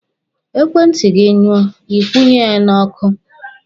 Ekwentị gị nyụọ, Ị kwụnye ya n'ọkụ.